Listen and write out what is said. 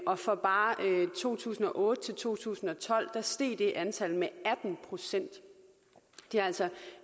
og fra bare to tusind og otte til to tusind og tolv steg det antal med atten procent det er altså